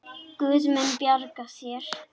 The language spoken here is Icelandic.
Guð mun bjarga þér.